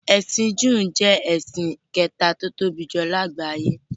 “Ẹ̀sìn júù” ni ẹ̀sìn kẹta tí ó tóbi jùlọ ní àgbáyé.